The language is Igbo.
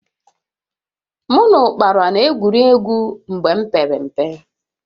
Mụ na ụkpala n'egwuri egwu mgbe m pere mpe